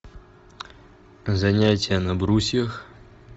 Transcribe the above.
занятия на брусьях